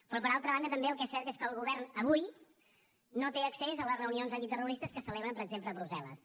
però per altra banda també el que és cert el que el govern avui no té accés a les reunions antiterroristes que es celebren per exemple a brussel·les